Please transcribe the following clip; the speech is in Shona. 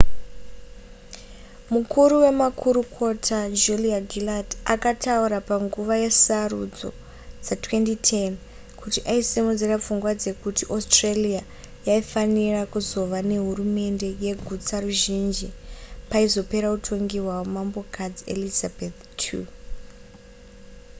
mukuru wemakurukota julia gillard akataura panguva yesarudzo dza2010 kuti aisimudzira pfungwa dzekuti australia yaifanira kuzova nehurumende yegutsaruzhinji paizopera utongi hwamambokadzi elizabeth ii